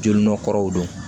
Jo nɔ kɔrɔ don